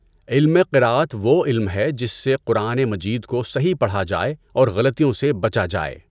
علم قراءت وہ علم ہے جس سے قرآن مجید کو صحیح پڑھا جائے اور غلطیوں سے بچا جائے۔